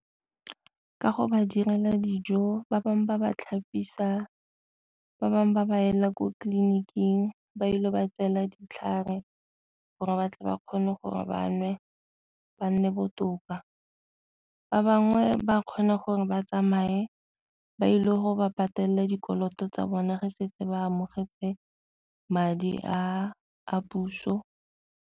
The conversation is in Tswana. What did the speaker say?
Ka go ba direla dijo, ba bangwe ba ba tlhapisa, ba bangwe ba ba ela ko tleliniking ba ile ba tseela ditlhare gore ba tle ba kgone gore ba nwe ba nne botoka. Ba bangwe ba kgone gore ba tsamaye ba ile go ba patele dikoloto tsa bona ge setse ba amogetse madi a a puso.